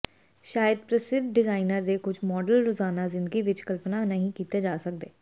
ਸ਼ਾਇਦ ਪ੍ਰਸਿੱਧ ਡਿਜ਼ਾਇਨਰ ਦੇ ਕੁਝ ਮਾਡਲ ਰੋਜ਼ਾਨਾ ਜ਼ਿੰਦਗੀ ਵਿਚ ਕਲਪਨਾ ਨਹੀਂ ਕੀਤੇ ਜਾ ਸਕਦੇ